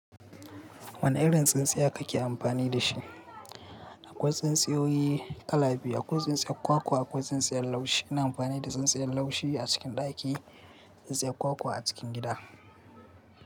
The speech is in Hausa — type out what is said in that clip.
Wane irin tsintsiya kake amfani da shi? Akwai tsintsiyoyi kala biyu, akwai tsintsiyar kwakwa akwai tsintsiyar laushi. Ina amfani da tsintsiyar laushi a cikin ɗaki, tsintsiyar kwakwa a cikin gida.